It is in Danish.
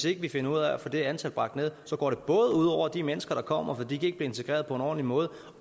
ikke finder ud af at få det antal bragt ned går det både ud over de mennesker der kommer for de kan ikke integreret på en ordentlig måde